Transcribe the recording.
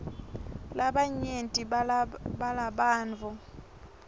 labanyenti balabantfu